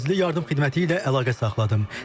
Təcili yardım xidməti ilə əlaqə saxladım.